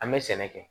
An bɛ sɛnɛ kɛ